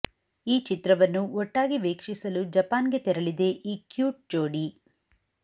ಈ ಚಿತ್ರವನ್ನು ಒಟ್ಟಾಗಿ ವೀಕ್ಷಿಸಲು ಜಪಾನ್ಗೆ ತೆರಳಿದೆ ಈ ಕ್ಯೂಟ್ ಜೋಡಿ